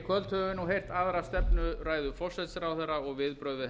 heyrt aðra stefnuræðu forsætisráðherra og viðbrögð við